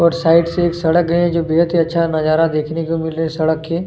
और साइड से एक सड़क है और जो बहुत ही अच्छा नजारा देखनें को मिल रहा है सड़क के--